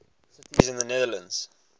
cities in the netherlands